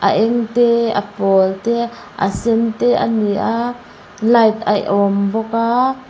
a eng te a pawl te a sen te a ni a light a awm bawk a.